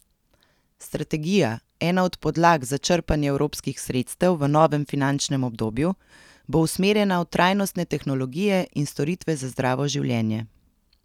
Strategija, ena od podlag za črpanje evropskih sredstev v novem finančnem obdobju, bo usmerjena v trajnostne tehnologije in storitve za zdravo življenje.